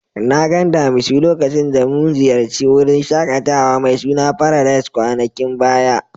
Na gan damisu lokacin da mun ziyace wurin shakatawa mai suna Paradise kwanakin baya.